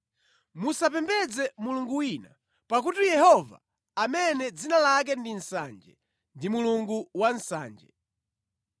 Musapembedze mulungu wina, pakuti Yehova amene dzina lake ndi Nsanje, ndi Mulungu wa nsanje.